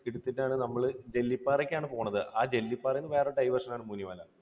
എടുത്തിട്ടാണ് നമ്മൾ ജെല്ലിപ്പാറയ്ക്ക് ആണ് പോകുന്നത്. ആ ജെല്ലിപ്പാറയിൽനിന്ന് വേറെ diversion ആണ് മുനിമല.